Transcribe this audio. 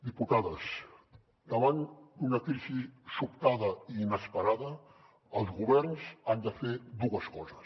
diputades davant d’una crisi sobtada i inesperada els governs han de fer dues coses